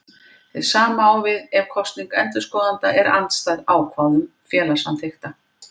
Hið sama á við ef kosning endurskoðenda er andstæð ákvæðum félagssamþykkta.